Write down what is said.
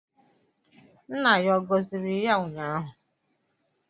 Nna ya ọ gọziri ya ụnyaahụ?